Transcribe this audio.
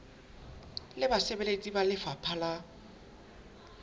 le basebeletsi ba lefapha la